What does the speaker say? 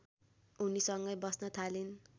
उनीसँगै बस्न थालिन्